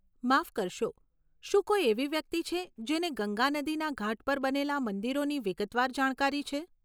માફ કરશો, શું કોઈ એવી વ્યક્તિ છે જેને ગંગા નદીના ઘાટ પર બનેલા મંદિરોની વિગતવાર જાણકારી છે?